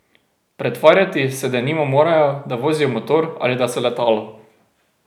Pretvarjati se denimo morajo, da vozijo motor ali da so letalo.